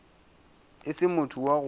e se motho wa go